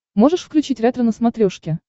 можешь включить ретро на смотрешке